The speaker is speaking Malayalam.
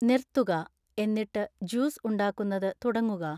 നിർത്തുക എന്നിട്ട് ജ്യൂസ് ഉണ്ടാക്കുന്നത് തുടങ്ങുക